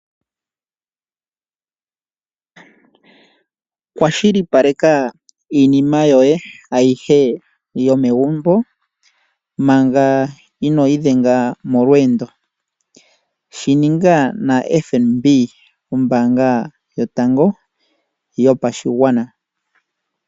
Kwashilipaleka iinima yoye ayihe yomegumbo manga inoo idhenga molweendo, shininga na FNB ombaanga yotango yopashigwana.